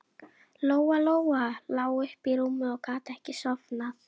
Lóa-Lóa lá uppi í rúmi og gat ekki sofnað.